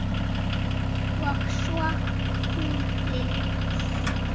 Og svo hún Lilla.